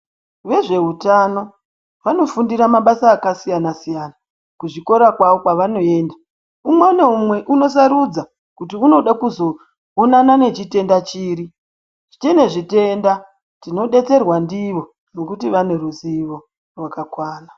Vezveutano vanofundira mabasa akasiyana siyana kuzvikora kwavo kwavanoenda umwe naumwe unosarudza kuti unode kuzoonana nechitenda chiri tinezvitenda tinodetserwa ndivo ngekuti vane ruzivo rwakakwana.